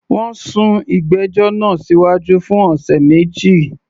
Wọ́n sún ìgbẹ́jọ́ náà síwájú fún ọ̀sẹ̀ méjì